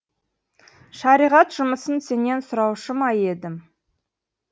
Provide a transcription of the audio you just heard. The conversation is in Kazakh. шариғат жұмысын сенен сұраушы ма едім